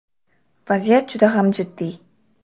Vaziyat juda ham jiddiy.